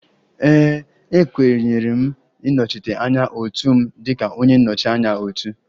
Ee e, e kenyere m ịnọchite anya otu m dịka onye nnọchi anya otu